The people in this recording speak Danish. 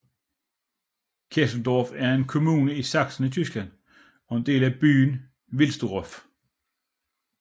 Kesselsdorf er en kommune i Sachsen i Tyskland og en del af byen Wilsdruff